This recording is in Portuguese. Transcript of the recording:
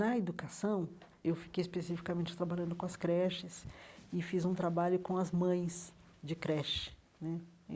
Na educação, eu fiquei especificamente trabalhando com as creches e fiz um trabalho com as mães de creche né e.